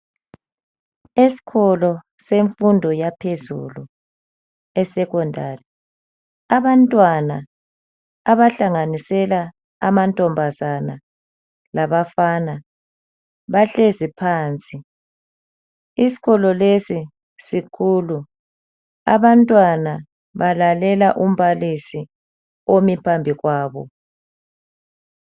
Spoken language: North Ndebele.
Esikolo semfundo yaphezulu esecondary. Abantwana abahalanganisela amantombazana labafana bahlezi phansi. Isikolo lesi sikhulu. Abantwana balalela umbalisi omi phambi kwabo.